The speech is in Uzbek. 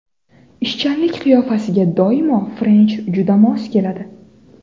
Ishchanlik qiyofasiga doimo french juda mos keladi.